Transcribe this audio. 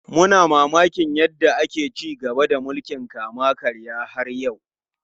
Muna mamakin yadda ake ci gaba da mulkin kama karya har yau.